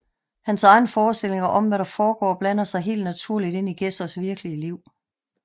Hans egen forestilling om hvad der foregår blander sig helt naturligt ind i Gedsers virkelige liv